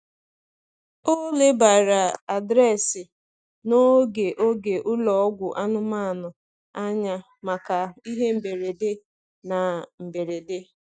Ọ lebara adreesị na oge oge ụlọ ọgwụ anụmanụ anya maka ihe mberede na mberede.